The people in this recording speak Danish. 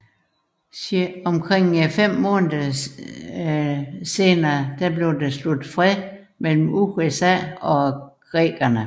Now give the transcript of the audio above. Omkring fem måneder senere blev der sluttet fred mellem USA og creekerne